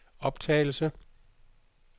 optagelse